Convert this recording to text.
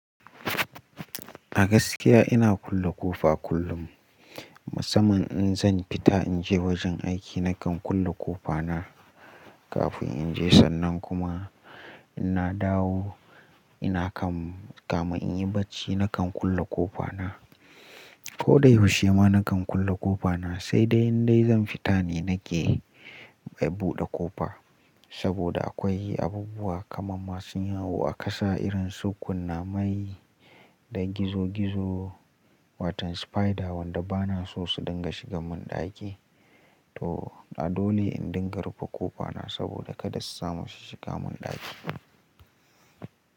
A gaskiya ina kulle ƙofa kullum. Musamman in zan fita in je wajen aiki nakan kulle ƙofa na kafin in je sannan kuma ina dawo ina kan kamun in yi bacci nakan kulle ƙofa na. Ko dai ysushe ma nakan kulle ƙofa na sai dai indai zan fita ne nake buɗe ƙofa. Saboda akwai abubuwa kamar masu yawo a ƙasa irin su kunnamai da gizo gizo watan spider wanda bana so su dinga shiga mun ɗaki. To a dole in dinga rufe ƙofa na saboda kada su samu su shiga mun ɗaki.